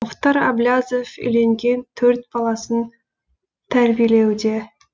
мұхтар әблязов үйленген төрт баласын тәрбиелеуде